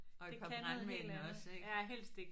Og et par brandmænd også ik